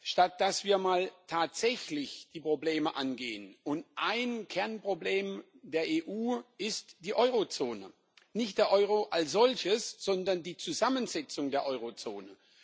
Statt dass wir mal tatsächlich die Probleme angehen, und ein Kernproblem der EU ist die Eurozone nicht der Euro als solches, sondern die Zusammensetzung der Eurozone.